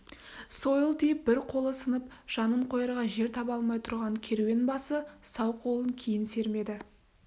сойыл тиіп бір қолы сынып жанын қоярға жер таба алмай тұрған керуен басы сау қолын кейін сермеді